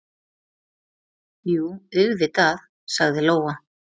Jú, auðvitað, sagði Lóa.